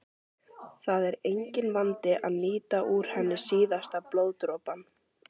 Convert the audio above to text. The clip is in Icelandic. Það er enginn vandi að nýta úr henni síðasta blóðdropann.